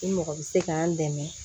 I mɔgɔ bɛ se k'an dɛmɛ